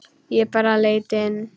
Ég bara leit inn.